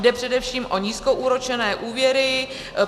Jde především o nízkoúročené úvěry.